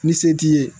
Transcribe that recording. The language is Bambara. Ni se t'i ye